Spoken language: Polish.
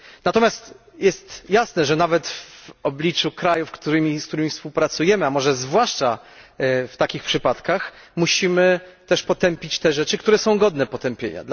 Natomiast jest jasne, że nawet w obliczu krajów, z którymi współpracujemy, a może zwłaszcza w takich przypadkach, musimy też potępić te rzeczy, które są godne potępienia.